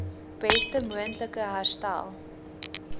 beste moontlike herstel